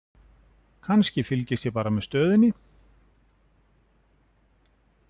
Kannski, fylgist ég bara með stöðunni?